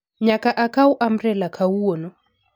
Nyaka akaw ambrela kawuono